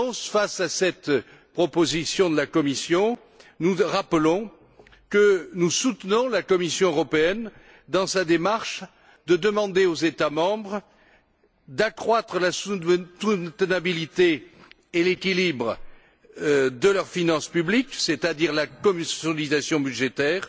Face à cette proposition de la Commission, nous rappelons que nous soutenons la Commission européenne dans sa démarche de demander aux États membres d'accroître la soutenabilité et l'équilibre de leurs finances publiques, c'est à dire la consolidation budgétaire,